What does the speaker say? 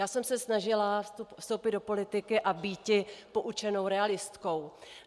Já jsem se snažila vstoupit do politiky a býti poučenou realistkou.